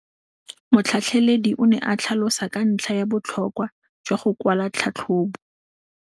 Motlhatlheledi o ne a tlhalosa ka ntlha ya botlhokwa jwa go kwala tlhatlhôbô.